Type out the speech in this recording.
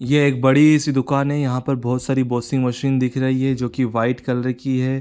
ये एक बड़ी सी दुकान है यहाँ पे बहुत सारी वाशिंग मशीन दिख रही है जो की वाइट कलर की है।